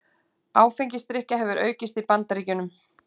Áfengisdrykkja hefur aukist í Bandaríkjunum